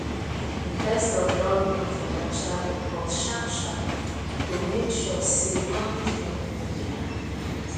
investors dey look financial report sharpsharp to make sure say management no dey hide anything